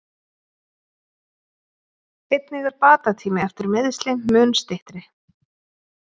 Einnig er bata tími eftir meiðsli mun styttri.